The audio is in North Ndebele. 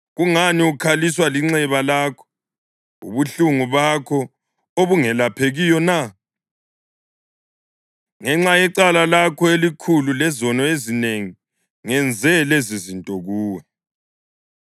Kungani ukhaliswa linxeba lakho, ubuhlungu bakho obungelaphekiyo na? Ngenxa yecala lakho elikhulu lezono ezinengi ngenze lezizinto kuwe.